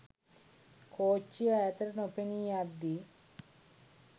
කෝච්චිය ඈතට නොපෙනී යද්දී